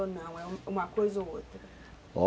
Ou não, é uma coisa ou outra?